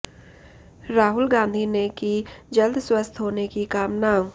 राहुल गांधी ने की जल्द स्वस्थ होने की कामना